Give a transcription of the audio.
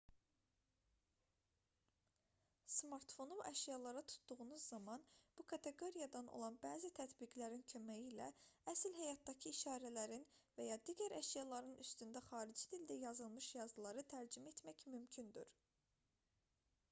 smartfonu əşyalara tutduğunuz zaman bu kateqoriyadan olan bəzi tətbiqlərin köməyi ilə əsl həyatdakı işarələrin və ya digər əşyaların üstündə xarici dildə yazılmış yazıları tərcümə etmək mümkündür